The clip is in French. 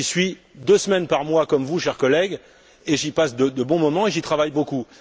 J'y suis deux semaines par mois et comme vous, chers collègues, j'y passe de bons moments et j'y travaille beaucoup.